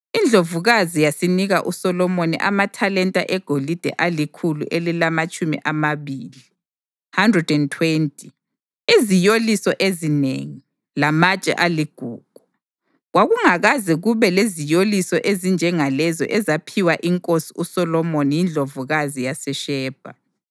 Indlovukazi yasinika uSolomoni amathalenta egolide alikhulu elilamatshumi amabili (120), iziyoliso ezinengi, lamatshe aligugu. Kwakungakaze kube leziyoliso ezinjengalezo ezaphiwa inkosi uSolomoni yindlovukazi yaseShebha.